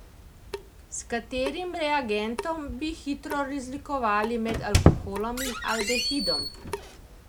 S katerim reagentom bi hitro razlikovali med alkoholom in aldehidom?